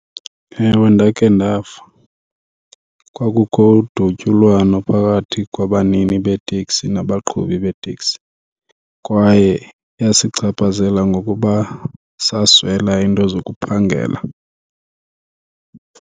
Ewe, ndakhe ndava. Kwakukho udutyulwano phakathi kwabanini beeteksi nabaqhubi beeteksi kwaye yasichaphazela ngokuba saswela iinto zokuphangela.